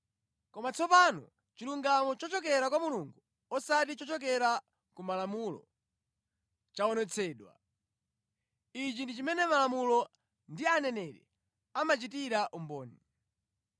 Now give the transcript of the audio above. Koma tsopano chilungamo chochokera kwa Mulungu, osati chochokera ku Malamulo, chaonetsedwa. Ichi ndi chimene Malamulo ndi Aneneri amachitira umboni.